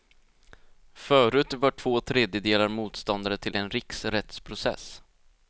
Förut var två tredjedelar motståndare till en riksrättsprocess.